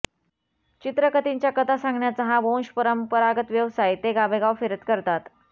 चित्रकथींच्या कथा सांगण्याचा हा वंशपरंपरागत व्यवसाय ते गावोगाव फिरत करतात